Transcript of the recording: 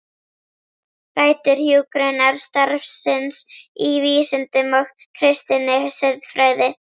Rætur hjúkrunarstarfsins í vísindum og kristinni siðfræði